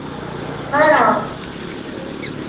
ആ നല്ല ഒരു ടൂറിസ്റ്റ് പ്ലേസ് പോലെയാണ്.